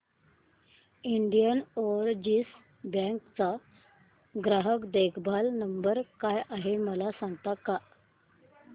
Indian Overseas Bank चा ग्राहक देखभाल नंबर काय आहे मला सांगता का